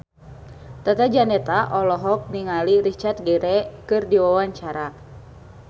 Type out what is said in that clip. Tata Janeta olohok ningali Richard Gere keur diwawancara